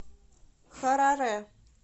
хараре